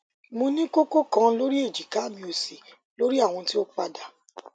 mo ni koko kan lori ejika mi osi lori awọn ti o pada